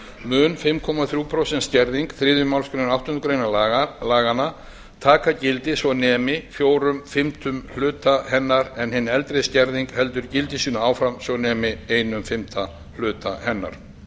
mun fimm komma þrjú prósent skerðing þriðju málsgrein áttundu grein laganna taka gildi svo nemi fjórir fimmtu hluta hennar en hin eldri skerðing heldur gildi sínu áfram svo nemi eins fimmta hluta hennar